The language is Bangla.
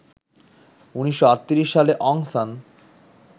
১৯৩৮ সালে অং সান